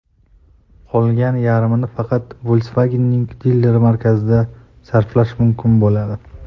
Qolgan yarmini faqat Volkswagen’ning dilerlik markazlarida sarflash mumkin bo‘ladi.